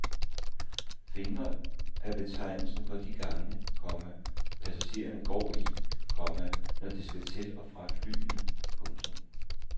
Fingre er betegnelsen for de gange, komma passagererne går i, komma når de skal til og fra flyene. punktum